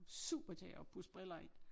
Super til at pudse briller i